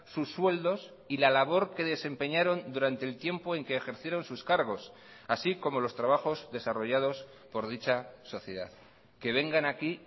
sus sueldos y la labor que desempeñaron durante el tiempo en que ejercieron sus cargos así como los trabajos desarrollados por dicha sociedad que vengan aquí